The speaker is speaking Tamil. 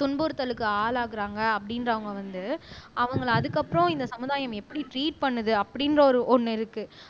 துன்புறுத்தலுக்கு ஆளாகுறாங்க அப்படின்றவங்க வந்து அவங்களை அதுக்கப்புறம் இந்த சமுதாயம் எப்படி ட்ரீட் பண்ணுது அப்படிங்கிற ஒரு ஒண்ணு இருக்கு